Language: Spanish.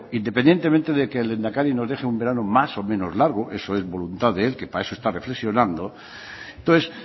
independientemente de que el lehendakari nos deje un verano más o menos largo eso es voluntad de él que para eso está reflexionando entonces